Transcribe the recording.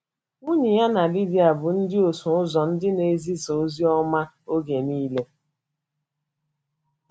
Nwunye ya na Lidia bụ ndị ọsụ ụzọ, ndị na - ezisa ozi ọma oge nile.